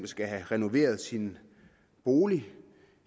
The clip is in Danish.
skal have renoveret sin bolig